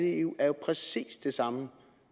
i eu er jo præcis det samme